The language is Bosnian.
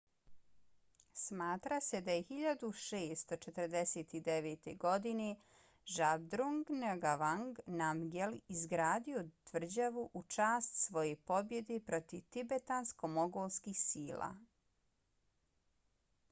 smatra se da je 1649. godine zhabdrung ngawang namgyel izgradio tvrđavu u čast svoje pobjede protiv tibetansko-mongolskih sila